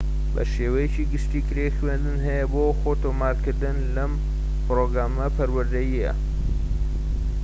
بە شێوەیەکی گشتی کرێی خوێندن هەیە بۆ خۆتۆمارکردن لەم پرۆگرامە پەروەردەییانە